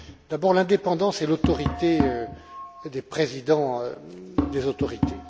D'abord, l'indépendance et l'autorité des présidents des autorités.